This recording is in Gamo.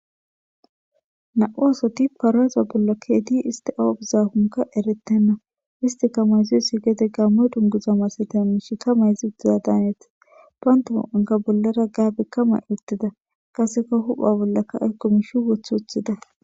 Nam'u asati paraza bolla ke'idi issti awwa biizakoka eerettena isstika maayizoysi geede gammo dungguza massatiza mishsheta mayida daanes isstika bollara gaabe mayi uttida qasseka huphphe bollaka ayko mishshe woththi uttida.